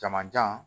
Jamajan